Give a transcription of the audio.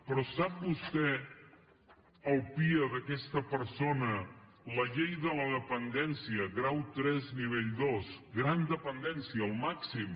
però sap vostè el pia d’aquesta persona la llei de la dependència grau tres nivell dos gran dependència el màxim